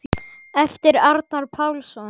eftir Arnar Pálsson